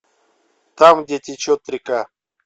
там где течет река